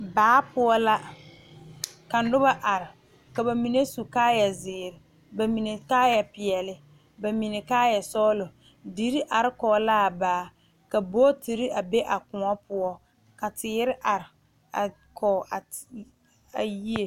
Baa poɔ la ka noba are ka bamine su kaaya ziiri bamine kaaya peɛle bamine kaaya sɔglɔ dire are kɔŋ laa baa ka bogitire a be a kõɔ poɔ ka teere are a kɔŋ a yie.